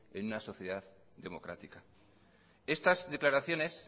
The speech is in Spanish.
en una sociedad democrática estas declaraciones